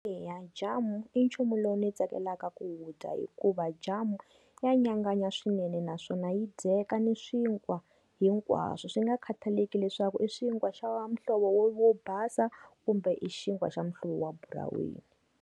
Eya, jamu i nchumu lowu ni tsakelaka ku wu dya hikuva jamu, ya nyanganya swinene naswona yi dyeka ni swinkwa hinkwaswo swi nga khathaleki leswaku i swinkwa swa muhlovo wo wo basa kumbe i xinkwa xa muhlovo wa buraweni.